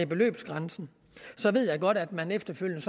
beløbsgrænsen så ved jeg godt at man efterfølgende